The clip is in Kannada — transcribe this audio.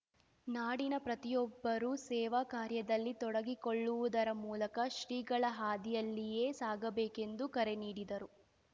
ನಾಡಿನ ಪ್ರತಿಯೊಬ್ಬರೂ ಸೇವಾ ಕಾರ್ಯದಲ್ಲಿ ತೊಡಗಿಕೊಳ್ಳುವುದರ ಮೂಲಕ ಶ್ರೀಗಳ ಹಾದಿಯಲ್ಲಿಯೇ ಸಾಗಬೇಕೆಂದು ಕರೆನೀಡಿದರು